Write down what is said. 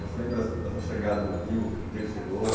Você lembra da sua, da sua chegada no Rio, do dia que chegou?